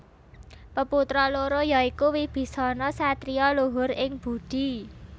Peputra loro ya iku Wibisana satriya luhur ing budi